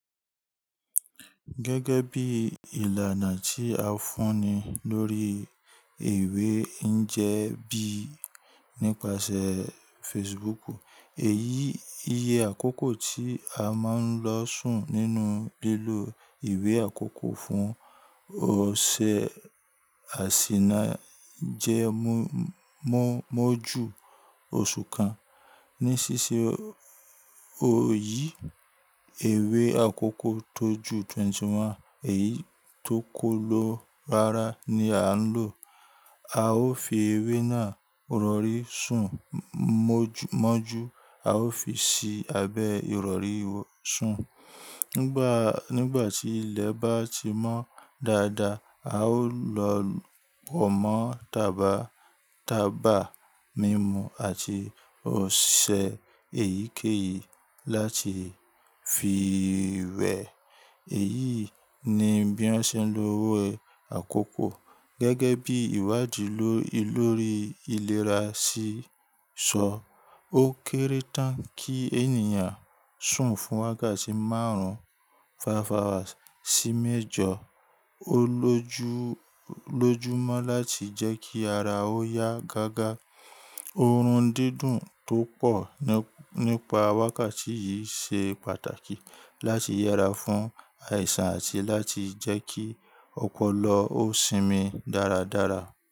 Gẹ́gẹ́ bí ìlànà tí a fúnni lórí ìwé ń jẹ bí nípasẹ̀ Facebook. Èyí iye àkókò tí a máa ń lọ sùn nínú lílo ìwé àkókò fún ọ̀ṣẹ àṣìná jẹ Mo jú oṣù kan. Ní ṣíṣe oyì ìwé àkókò tó ju twenty one èyí tó kọ́ ló rárá ni à ń lò. A ó fi ewé náà rọrí sùn mọ́njú a ó fi sí abẹ́ ìrọ̀rí sùn. Nígbà tí ilẹ̀ bá ti mọ́ dáadáa, a ó lọ wọ́n mọ taba taba mímu àti ọ̀ṣẹ èyíkéyìí láti fi wẹ̀. Èyí ni bí wọ́n ṣe ń lo ewé àkókò. Gẹ́gẹ́ bí ìwádìí lórí ìlera si sọ, ó kéré tán kí ènìyàn sùn fún wákàtí márùn-ún five hours sí méjọ. Ó lójúmọ́ láti jẹ́ kí ara ó yá gágá. Orun dídùn tó pọ̀ nípa wákàtí yìí ṣe pàtàkì láti yera fún àìsàn àti láti jẹ́ kí ọpọlọ ó sinmi dáradára.